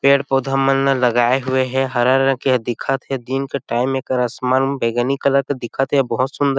पेड़- पौधा मन ला लगाए हुए है हरा रंग के हे दिखत है दिन के टाइम एकर आसमान बैगनी कलर के दिखत है बहुत सुंदर --